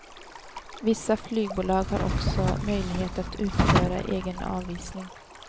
Vissa flygbolag har också möjlighet att utföra egen avisning.